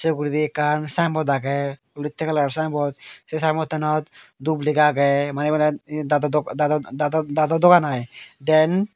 uguredi ekkan signboard aage olotte colour signboard se signboard tanod dub lega aage mane ebenod dado dok dado dado dado dogan i dent.